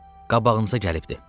Qabağınıza gəlibdir.